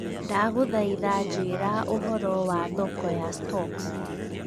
Ndagũthaitha njĩĩra ũhoro wa thoko ya stocks